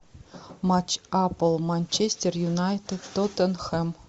матч апл манчестер юнайтед тоттенхэм